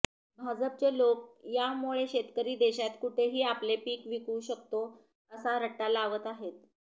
भाजपचे लोक यामुळे शेतकरी देशात कुठेही आपले पीक विकू शकतो असा रट्टा लावत आहेत